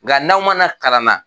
Nga n'aw man na kalan na.